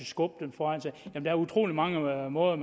skubbe den foran sig der er utrolig mange måder